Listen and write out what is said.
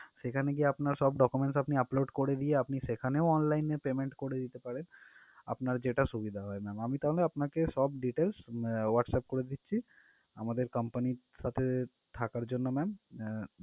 সেখানে গিয়ে আপনার সব document আপনি upload করে দিয়ে আপনি সেখানেও online এ payment করে দিতে পারেন আপনার যেটা সুবিধা হয় ma'am আমি তাহলে আপনাকে সব details আহ WhatsApp করে দিচ্ছি আমাদের company র সাথে থাকার জন্য ma'am আহ